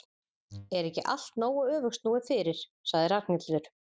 Er ekki allt nógu öfugsnúið fyrir? sagði Ragnhildur.